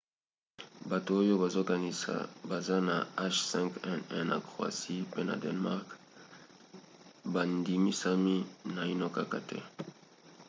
bato oyo bazokanisa baza na h5n1 na croatie pe na danemark bandimisami naino kaka te